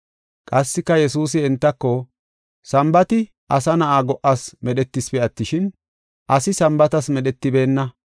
Qassika Yesuusi entako, “Sambaati asa na7a go77as medhetisipe attishin, asi Sambaatas medhetibeenna.